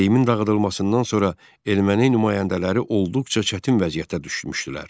Seyimin dağıdılmasından sonra erməni nümayəndələri olduqca çətin vəziyyətə düşmüşdülər.